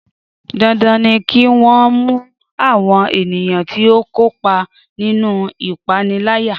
Dandan ni kí wọ́n mú àwọn ènìyàn tí ó kópa nínú ìpániláyà